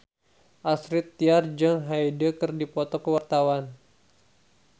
Astrid Tiar jeung Hyde keur dipoto ku wartawan